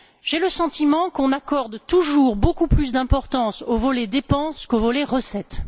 J'ai le sentiment qu'on accorde toujours beaucoup plus d'importance au volet dépenses qu'au volet recettes.